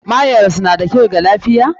Mayonnaise na kyau ga lafiya?